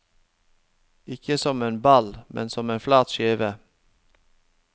Ikke som en ball, men som en flat skive.